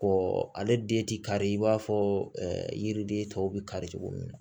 Ko ale den ti kari i b'a fɔ yiriden tɔw bɛ kari cogo min na